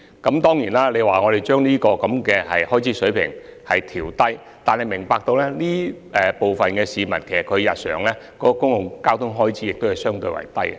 議員要求當局把有關水平調低，但議員要明白，亦有部分市民的日常公共交通開支相對較低。